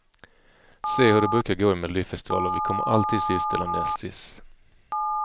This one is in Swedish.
Se hur det brukar gå i melodifestivaler, vi kommer alltid sist eller näst sist.